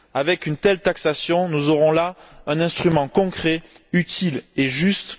Avec une telle taxation, nous aurons là un instrument concret, utile et juste.